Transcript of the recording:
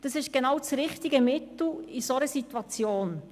Das ist genau das richtige Mittel in dieser Situation.